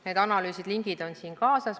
Nende analüüside lingid on siin olemas.